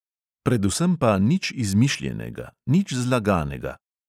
Predvsem pa nič izmišljenega, nič zlaganega.